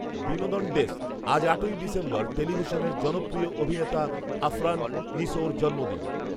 বিনোদন ডেস্ক। আজ, আটই ডিসেম্বর টেলিভিশনের জনপ্রিয় অভিনেতা আফরান নিসোর জন্মদিন